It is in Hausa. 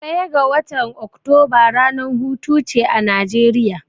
Ɗaya ga watan Oktoba ranar hutuce a Najeriya.